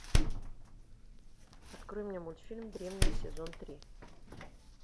открой мне мультфильм древние сезон три